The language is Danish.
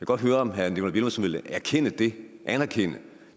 godt høre om herre nikolaj villumsen vil anerkende det anerkende